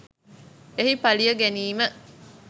එහි පලිය ගැනීම